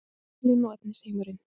Sálin og efnisheimurinn